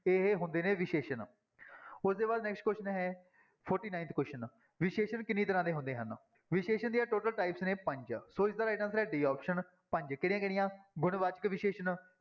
ਇਹ ਹੁੰਦੇ ਨੇ ਵਿਸ਼ੇਸ਼ਣ ਉਹਦੇ ਬਾਅਦ next question ਹੈ forty-ninth question ਵਿਸ਼ੇਸ਼ਣ ਕਿੰਨੀ ਤਰ੍ਹਾਂ ਦੇ ਹੁੰਦੇ ਹਨ, ਵਿਸ਼ੇਸ਼ਣ ਦੀਆਂ total types ਨੇ ਪੰਜ ਸੋ ਇਸਦਾ right answer ਹੈ d option ਪੰਜ ਕਿਹੜੀਆਂ ਕਿਹੜੀਆਂ ਗੁਣ ਵਾਚਕ ਵਿਸ਼ੇਸ਼ਣ